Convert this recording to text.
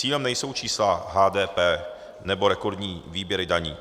Cílem nejsou čísla HDP nebo rekordní výběry daní.